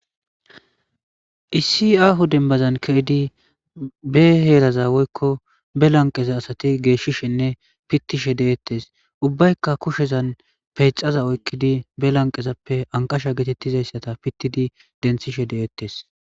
Issi ahu dembazan ke'idi be heeraza woykko be lanqeza asati geeshshishinne pittishe de'ettes ubbaykka kushezan peyxaza oykkidi be lanqezappe anqasha geetettizayssata pittidi denthishe de'ettes